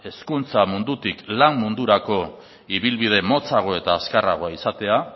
hezkuntza mundutik lan mundurako ibilbide motzago eta azkarragoa izatea